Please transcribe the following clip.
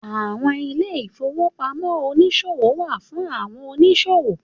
Àwọn ilé ìfowópamọ́ oniṣowo wá fún àwọn oníṣòwò